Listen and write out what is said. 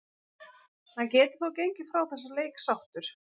Hann getur þó gengið frá þessum leik sáttur.